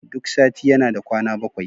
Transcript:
Duk sati yana da kwana bakwai